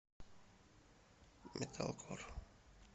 металкор